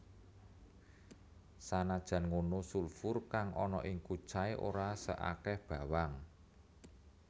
Sanajan ngono sulfur kang ana ing kucai ora saakeh bawang